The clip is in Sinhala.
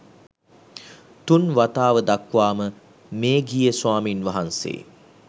තුන් වතාව දක්වාම මේඝිය ස්වාමීන් වහන්සේ